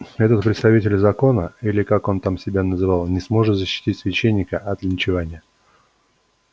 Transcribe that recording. этот представитель закона или как он там себя называл не сможет защитить священника от линчевания